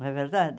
Não é verdade?